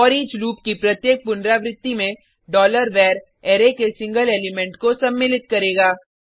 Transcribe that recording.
foreach loop की प्रत्येक पुनरावृत्ती में डॉलर वर अरै के सिंगल एलिमेंट को सम्मिलित करेगा